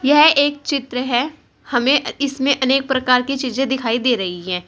यह एक चित्र है। हमें अ इसमें अनेक प्रकार की चीजें दिखाई दे रही हैं।